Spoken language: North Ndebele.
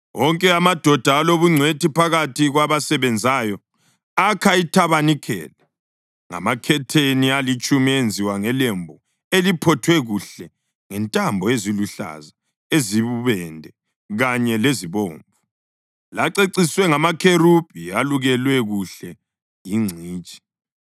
Wonke amadoda alobungcwethi phakathi kwabasebenzayo akha ithabanikeli ngamakhetheni alitshumi enziwe ngelembu eliphothwe kuhle ngentambo eziluhlaza, eziyibubende kanye lezibomvu, laceciswe ngamakherubhi elukelwa kuhle yingcitshi.